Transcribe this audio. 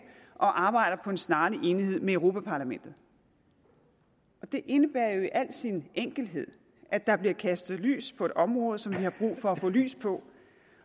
og arbejder på en snarlig enighed med europa parlamentet det indebærer jo i al sin enkelhed at der bliver kastet lys på et område som vi har brug for at få lys på